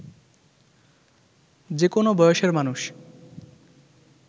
যে কোনো বয়সের মানুষ